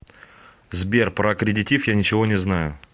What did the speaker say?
сбер про аккредитив я ничего не знаю